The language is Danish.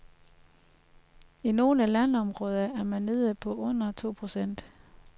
I nogle landområder er man nede på under to procent.